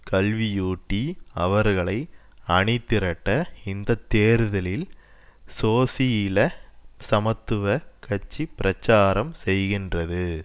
கல்வியூட்டி அவர்களை அணிதிரட்ட இந்த தேர்தலில் சோசியில சமத்துவ கட்சி பிரச்சாரம் செய்கின்றது